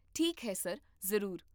ਠੀਕ ਹੈ ਸਰ, ਜ਼ਰੂਰ